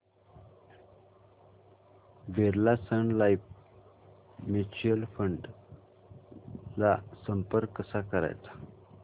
Birla Sun Life mutual fund ला संपर्क कसा करायचा